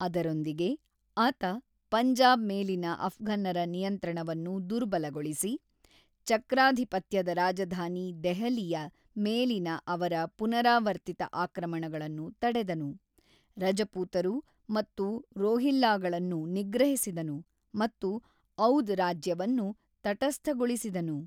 ಅದರೊಂದಿಗೆ, ಆತ ಪಂಜಾಬ್ ಮೇಲಿನ ಅಫ್ಘನ್ನರ ನಿಯಂತ್ರಣವನ್ನು ದುರ್ಬಲಗೊಳಿಸಿ, ಚಕ್ರಾಧಿಪತ್ಯದ ರಾಜಧಾನಿ ದೆಹಲಿಯ ಮೇಲಿನ ಅವರ ಪುನರಾವರ್ತಿತ ಆಕ್ರಮಣಗಳನ್ನು ತಡೆದನು, ರಜಪೂತರು ಮತ್ತು ರೋಹಿಲ್ಲಾಗಳನ್ನು ನಿಗ್ರಹಿಸಿದನು ಮತ್ತು ಔದ್ ರಾಜ್ಯವನ್ನು ತಟಸ್ಥಗೊಳಿಸಿದನು.